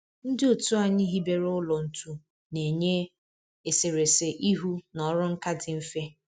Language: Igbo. Ndị otu anyị hibere ụlọ ntu na-enye eserese ihu na ọrụ nka dị mfe